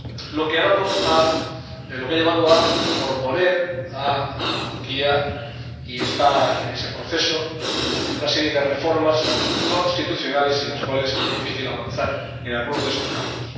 Lo que ha llevado a proponer a Turquía, y está en ese proceso, una serie de reformas constitucionales sin las cuales sería difícil avanzar en algunos de esos campos.